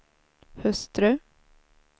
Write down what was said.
hustru